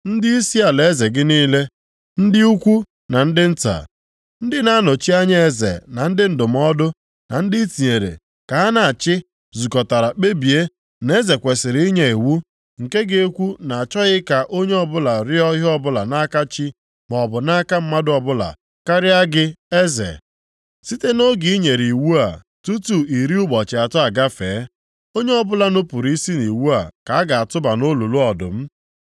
Ndịisi alaeze gị niile, ndị ukwu na ndị nta, ndị na-anọchi anya eze na ndị ndụmọdụ na ndị ị tinyere ka ha na-achị zukọtara kpebie na eze kwesiri inye iwu nke ga-ekwu na a chọghị ka onye ọbụla rịọọ ihe ọbụla nʼaka chi maọbụ nʼaka mmadụ ọbụla karịa gị eze, site nʼoge i nyere iwu a tutu iri ụbọchị atọ agafee. Onye ọbụla nupuru isi nʼiwu a ka a ga-atụba nʼolulu ọdụm.